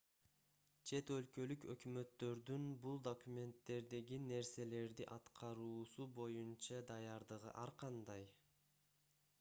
чет өлкөлүк өкмөттөрдүн бул документтердеги нерселерди аткаруусу боюнча даярдыгы ар кандай